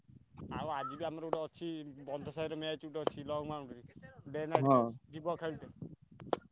ଆଉ ଆଜି ବା ଆମର ଅଛି